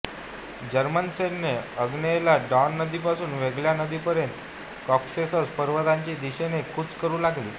German सैन्य आग्नेयेला Don नदी पासुन व्होल्गा नदीपर्यंत कॉकेसस पर्वतांच्या दिशेने कूच करू लागली